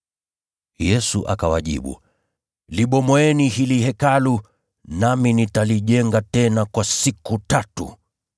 Yesu akawajibu, “Libomoeni hili Hekalu, nami nitalijenga tena kwa siku tatu!”